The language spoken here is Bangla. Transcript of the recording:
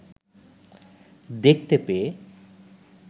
দেখতে পেয়ে